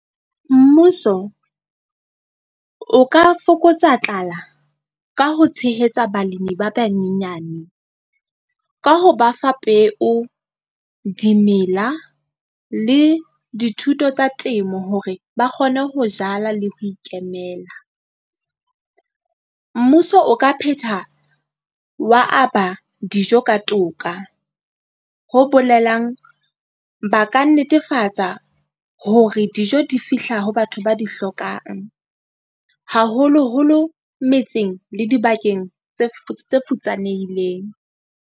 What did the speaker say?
Mmuso, o ka fokotsa tlala ka ho tshehetsa balemi ba banyenyane ka ho ba fa peo, dimela le dithuto tsa temo hore ba kgone ho jala le ho ikemela. Mmuso o ka phetha wa aba dijo ka toka, ho bolelang ba ka netefatsa hore dijo di fihla ho batho ba di hlokang, haholoholo metseng le dibakeng tse futsanehileng.